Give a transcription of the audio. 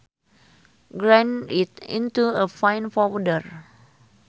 Grind it into a fine powder